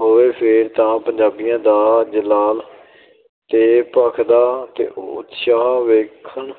ਹੋਵੇ, ਫੇਰ ਤਾਂ ਪੰਜਾਬੀਆਂ ਦਾ ਜਲਾਲ ਤੇ ਭਖਦਾ ਉਤਸ਼ਾਹ ਵੇਖਣ